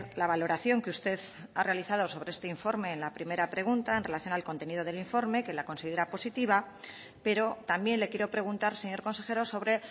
la valoración que usted ha realizado sobre este informe en la primera pregunta en relación al contenido del informe que la considera positiva pero también le quiero preguntar señor consejero sobre